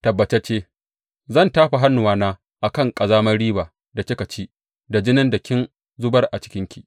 Tabbatacce zan tafa hannuwana a kan ƙazamar riba da kika ci da jinin da kin zubar a cikinki.